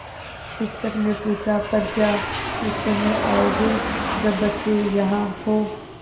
शिक्षक ने पूछा पर क्या उस समय आओगे जब बच्चे यहाँ हों